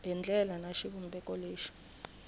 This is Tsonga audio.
hi ndlela ni xivumbeko lexi